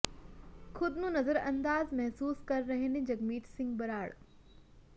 ਖ਼ੁਦ ਨੂੰ ਨਜ਼ਰਅੰਦਾਜ਼ ਮਹਿਸੂਸ ਕਰ ਰਹੇ ਨੇ ਜਗਮੀਤ ਸਿੰਘ ਬਰਾੜ